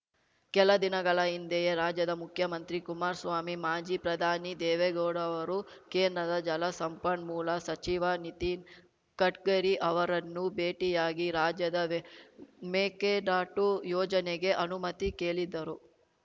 ಕೆಲ ದಿನಗಳ ಹಿಂದೆಯೇ ರಾಜ್ಯದ ಮುಖ್ಯಮಂತ್ರಿ ಕುಮಾರಸ್ವಾಮಿ ಮಾಜಿ ಪ್ರಧಾನಿ ದೇವೇಗೌಡ ಅವರು ಕೇಂದ್ರದ ಜಲಸಂಪನ್ಮೂಲ ಸಚಿವ ನಿತಿನ್‌ ಗಡ್ಕರಿ ಅವರನ್ನು ಭೇಟಿಯಾಗಿ ರಾಜ್ಯದ ಮೇಕೆದಾಟು ಯೋಜನೆಗೆ ಅನುಮತಿ ಕೇಳಿದ್ದರು